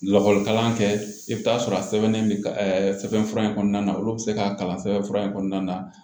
Lakɔlikalan kɛ i bɛ taa sɔrɔ a sɛbɛnnen bɛ sɛbɛn fura in kɔnɔna na olu bɛ se k'a kalan sɛbɛnfura in kɔnɔna na